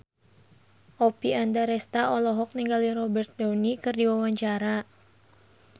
Oppie Andaresta olohok ningali Robert Downey keur diwawancara